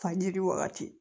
Fajiri wagati